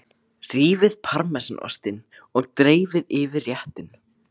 Rífið parmesanostinn og dreifið yfir réttinn.